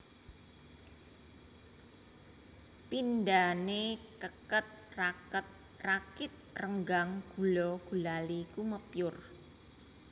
Pindhane keket raket rakit renggang gula gulali kumepyur